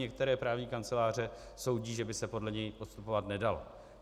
Některé právní kanceláře soudí, že by se podle něj postupovat nedalo.